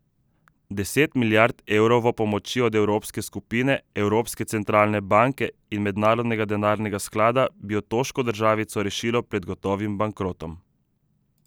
Deset milijard evrovo pomoči od evrske skupine, Evropske centralne banke in Mednarodnega denarnega sklada bi otoško državico rešilo pred gotovim bankrotom.